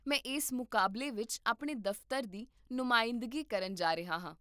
ਮੈਂ ਇਸ ਮੁਕਾਬਲੇ ਵਿੱਚ ਆਪਣੇ ਦਫ਼ਤਰ ਦੀ ਨੁਮਾਇੰਦਗੀ ਕਰਨ ਜਾ ਰਿਹਾ ਹਾਂ